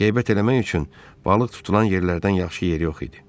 Qeybət eləmək üçün balıq tutulan yerlərdən yaxşı yer yox idi.